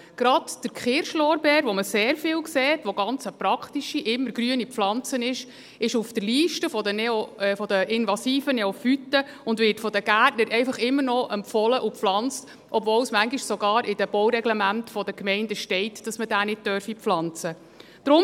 Gerade der Kirschlorbeer, den man sehr viel sieht, der eine ganz praktische immergrüne Pflanze ist, ist auf der Liste der invasiven Neophyten und wird von den Gärtnern einfach immer noch empfohlen und gepflanzt, obwohl es manchmal sogar in den Baureglementen der Gemeinden steht, dass man diesen nicht pflanzen dürfe.